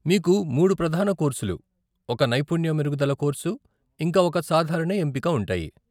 మీకు మూడు ప్రధాన కోర్సులు, ఒక నైపుణ్య మెరుగుదల కోర్సు, ఇంకా ఒక సాధారణ ఎంపిక ఉంటాయి.